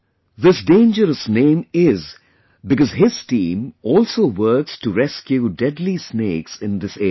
This dangerous name is because his team also works to rescue deadly snakes in this area